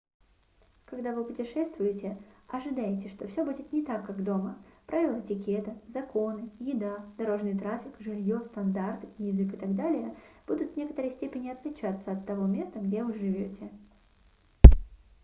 когда вы путешествуете ожидайте что всё будет не так как дома правила этикета законы еда дорожный трафик жильё стандарты язык и так далее будут в некоторой степени отличаться от того места где вы живёте